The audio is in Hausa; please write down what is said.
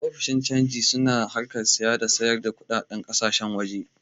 Ofishin cangi su na harkar saya da sayar da kuɗin ƙasashen waje